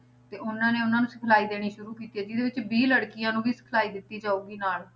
ਤੇ ਉਹਨਾਂ ਨੇ ਉਹਨਾਂ ਨੂੰ ਸਿਖਲਾਈ ਦੇਣੀ ਸ਼ੁਰੂ ਕੀਤੀ ਆ, ਜਿਹਦੇ ਵਿੱਚ ਵੀਹ ਲੜਕੀਆਂ ਨੂੰ ਵੀ ਸਿਖਲਾਈ ਦਿੱਤੀ ਜਾਊਗੀ ਨਾਲ